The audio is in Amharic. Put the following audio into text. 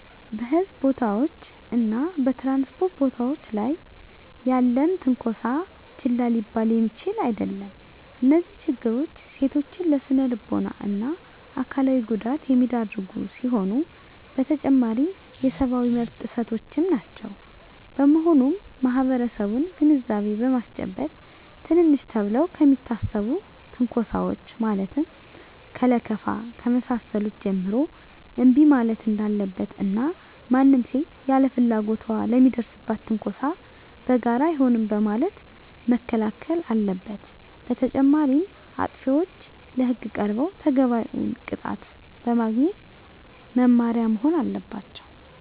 በሕዝብ ቦታዎች እና በ ትራንስፖርት ቦታወች ላይ ያለም ትነኮሳ ችላ ሊባል የሚችል አደለም። እነዚህ ችግሮች ሴቶችን ለስነልቦና እና አካላዊ ጉዳት የሚዳርጉ ሲሆኑ በተጨማሪም የሰብአዊ መብት ጥሰቶችም ናቸው። በመሆኑም ማህበረሰቡን ግንዛቤ በማስጨበጥ ትንንሽ ተብለው ከሚታሰቡ ትንኮሳወች ማለትም ከለከፋ ከመሳሰሉት ጀምሮ እንቢ ማለት እንዳለበት እና ማንም ሴት ያለ ፍላጎቷ ለሚደርስባት ትንኮሳ በጋራ አይሆንም በማለት መከላከል አለበት። በተጨማሪም አጥፊዎች ለህግ ቀርበው ተገቢውን ቅጣት በማግኘት መማሪያ መሆን አለባቸው።